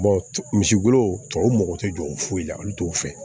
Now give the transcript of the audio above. misi golo tɔw mago te jɔ foyi la olu t'o fɛ